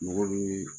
Mɔgɔ bi